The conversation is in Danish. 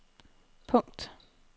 punkt